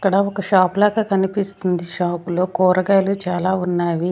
ఇక్కడ ఒక షాప్ లాగా కనిపిస్తుంది షాప్ లో కూరగాయలు చాలా ఉన్నావి.